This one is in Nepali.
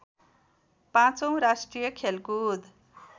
पाँचौं राष्ट्रिय खेलकुद